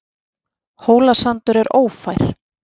Hólasandur er ófær